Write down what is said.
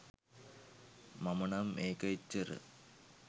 මම නම් ඒක එච්චර